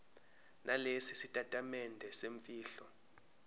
nalesi sitatimende semfihlo